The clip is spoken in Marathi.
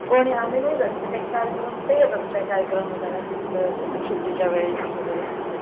कोणी आम्ही नाही जात ते कार्यक्रम ते येतात काय कार्यक्रम वगैरे असला तर म्हणजे सुट्टीच्या वेळेस सगळे ते .